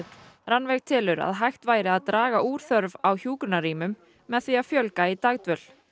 Rannveig telur að hægt væri að draga úr þörf á hjúkrunarrýmum með því að fjölga í dagdvöl